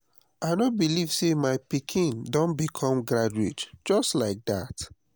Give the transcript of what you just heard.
i no believe say my pikin don become graduate just like dat